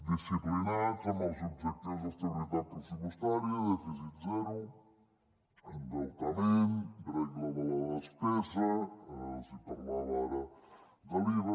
disciplinats amb els objectius d’estabilitat pressupostària dèficit zero endeutament regla de la despesa els parlava ara de l’iva